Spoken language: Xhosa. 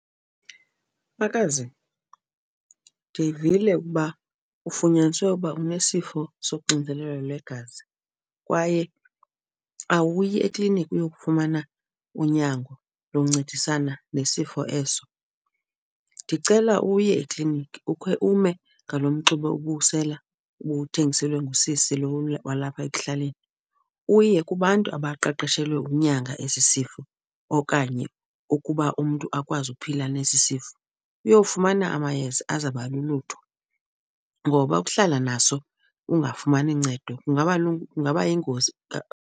Makazi, ndivile ukuba ufunyaniswe uba unesifo soxinzelelo lwegazi kwaye awuyi ekliniki uyokufumana unyango loncedisana nesifo eso. Ndicela uye ekliniki ukhe ume ngalo mxube ubuwusela ubuwuthengiselwe ngusisi lo walapha ekuhlaleni uye kubantu abaqeqeshelwe ukunyanga esi sifo okanye ukuba umntu akwazi ukuphila nesi sifo, uyowufumana amayeza azawuba lulutho. Ngoba ukuhlala naso ungafumani ncedo kungaba yingozi .